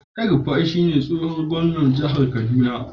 El-rufai yanzu shine tsohon gwamnan jihar kaduna.